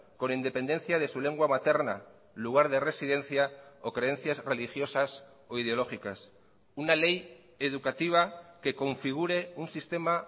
con independencia de su lengua materna lugar de residencia o creencias religiosas o ideológicas una ley educativa que configure un sistema